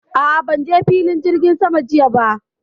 A'a, ban je filin jirgin saman jiya ba.